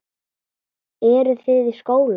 Eru þið í skóla?